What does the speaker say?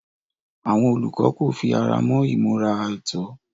Àwọn olùkọ́ kò fi ara mọ́ ìmúra àìtọ́.